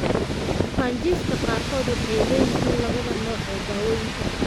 Bukaanjiifka qaarkood waxay leeyihiin labada nooc ee daawaynta.